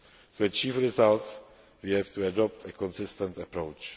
worldwide. To achieve results, we have to adopt a consistent